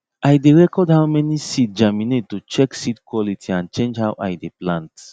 i dey record how many seed germinate to check seed quality and change how i dey plant